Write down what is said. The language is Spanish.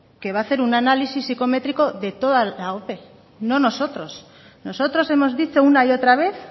que va a hacer un análisis psicométrico de toda la ope no nosotros nosotros hemos dicho una y otra vez